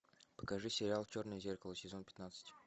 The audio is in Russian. покажи сериал черное зеркало сезон пятнадцать